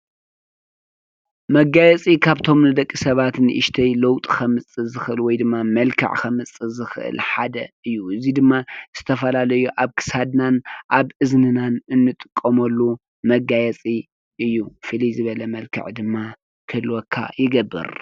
መጋየፂ ካብቶም ንደቂ ሰባት ንእሽተይ ለውጢ ከምፅእ ዝኽእል ወይድማ መልክዕ ከምፅእ ዝኽእል ሓደ እዩ እዙይ ድማ ዝተፈላለዩ ኣብ ክሳድናን ኣብ እዝንናን እንጥቀመሉ መጋየፂ እዩ ፍልይ ዝበለ መልክዕ ድማ ክህልወካ ይገብር።